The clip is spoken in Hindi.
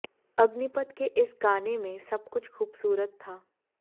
अग्निपथ के इस गाने में सब कुछ खूबसूरत था